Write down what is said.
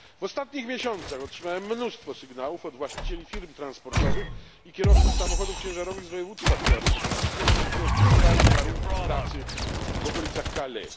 W ostatnich miesiącach otrzymałem mnóstwo sygnałów od właścicieli firm transportowych i kierowców samochodów ciężarowych z województwa kujawsko pomorskiego, którzy opisywali warunki pracy w okolicach Calais.